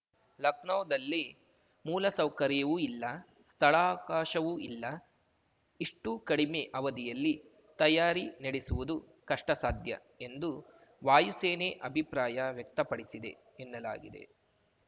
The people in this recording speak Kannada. ಲಖನೌದಲ್ಲಿ ಮೂಲಸೌಕರ್ಯವೂ ಇಲ್ಲ ಸ್ಥಳಾವಕಾಶವೂ ಇಲ್ಲ ಇಷ್ಟುಕಡಿಮೆ ಅವಧಿಯಲ್ಲಿ ತಯಾರಿ ನಡೆಸುವುದು ಕಷ್ಟಸಾಧ್ಯ ಎಂದು ವಾಯುಸೇನೆ ಅಭಿಪ್ರಾಯ ವ್ಯಕ್ತಪಡಿಸಿದೆ ಎನ್ನಲಾಗಿದೆ